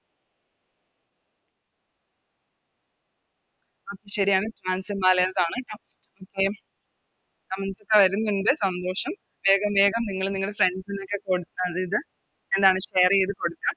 ശെരിയാണ് ആണ് Okay ഒക്കെ സന്തോഷം വേഗം വേഗം നിങ്ങള് Friends നോക്കെ കൊടുക്ക അത് ഇത് എന്താണ് Share ചെയ്ത കൊടുക്ക